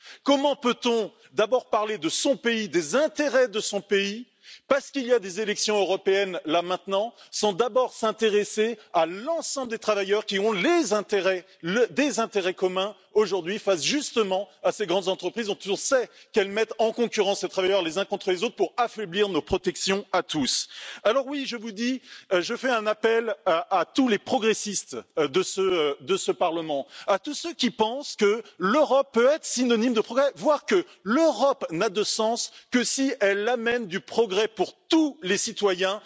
Comment peut on d'abord parler de son pays, des intérêts de son pays, parce qu'il y a des élections européennes, sans d'abord s'intéresser à l'ensemble des travailleurs qui partagent des intérêts communs face justement à ces grandes entreprises, dont on sait qu'elles mettent en concurrence les travailleurs les uns contre les autres pour affaiblir nos protections à tous? Alors oui, je lance un appel à tous les progressistes de ce Parlement, à tous ceux qui pensent que l'Europe peut être synonyme de progrès, voire que l'Europe n'a de sens que si elle amène du progrès pour tous les citoyens,